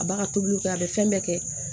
A b'a ka tobiliw kɛ a bɛ fɛn bɛɛ kɛ